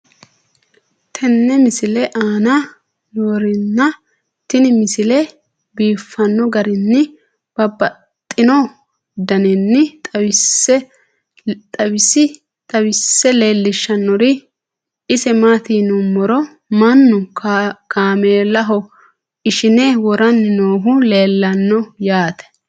tenne misile aana noorina tini misile biiffanno garinni babaxxinno daniinni xawisse leelishanori isi maati yinummoro mannu kaamelaho ishinne woranni noohu leelanno yaatte.